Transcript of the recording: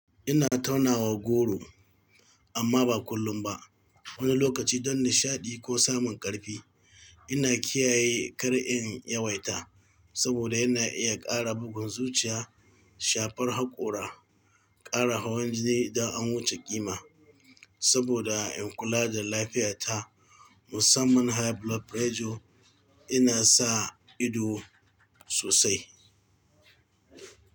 Ina taunawa goro amma ba kullum ba. Wani lokaci don nishaɗi ko samun ƙarfi. Ina kiyaye kar in yawaita saboda yana iya ƙara bugun zuciya, shafar haƙora, ƙara hawan jini idan an wuce ƙima. Saboda in kula da lafiyata musamman high blood pressure ina sa ido sosai.